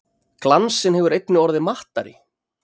Glansinn hefur einnig orðið mattari.